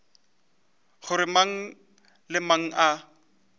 gore mang le mang a